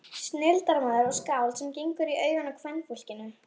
Snilldarmaður og skáld sem gengur í augun á kvenfólkinu.